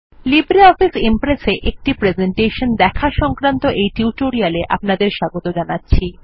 LibreOffice Impress এ একটি presentation দেখা সংক্রান্ত এই টিউটোরিলে আপনাদের স্বাগত জানাচ্ছি